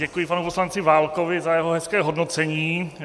Děkuji panu poslanci Válkovi za jeho hezké hodnocení.